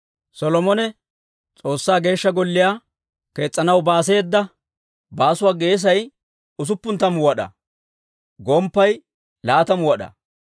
Solomone S'oossaa Geeshsha Golliyaa kees's'anaw baaseeda baasuwaa geesay usuppun tammu wad'aa; gomppay laatamu wad'aa.